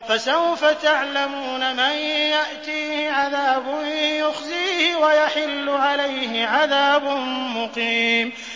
فَسَوْفَ تَعْلَمُونَ مَن يَأْتِيهِ عَذَابٌ يُخْزِيهِ وَيَحِلُّ عَلَيْهِ عَذَابٌ مُّقِيمٌ